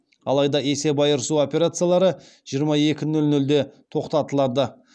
алайда есеп айырысу операциялары жиырма екі нөл нөлде тоқтатылады